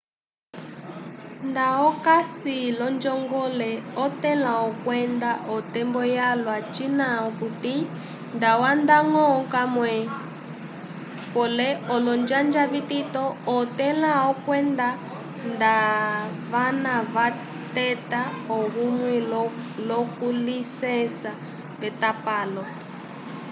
nda okasi l'onjongole otẽla okwenda otembo yalwa cina okuti ndawanda-ñgo kamwe pole olonjanja vitito otẽla okwenda ndavana vateta ohume l'okulisesa v'etapalo